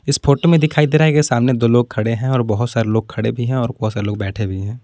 इस फोटो में दिखाई दे रहा है की सामने दो लोग खड़े हैं और बहुत सारे लोग खड़े भी हैं और बहुत सारे लोग बैठे भी हैं।